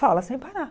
Fala sem parar.